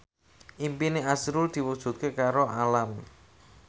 impine azrul diwujudke karo Alam